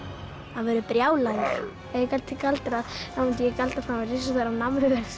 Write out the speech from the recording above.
hann verður brjálaður ef ég gæti galdrað þá myndi ég galdra fram risastóra